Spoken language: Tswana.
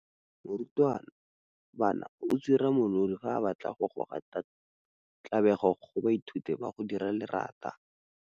Morutwabana o tswirinya molodi fa a batla go goa tlabego go baithuti ba go dira lerata.